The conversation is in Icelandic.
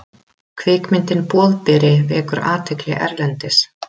Kvikmyndin Boðberi vekur athygli erlendis